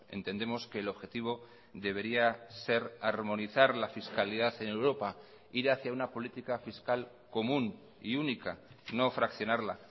entendemos que el objetivo debería ser armonizar la fiscalidad en europa ir hacia una política fiscal común y única no fraccionarla